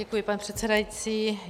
Děkuji, pane předsedající.